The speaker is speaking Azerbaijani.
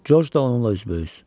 George da onunla üzbəüz.